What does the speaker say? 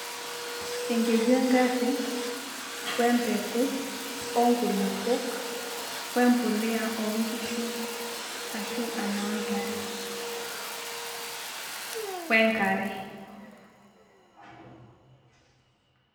Enkeju engari, ompeku, onkulupuk, ombolea oonkishu ashu enoo ntare, onkare.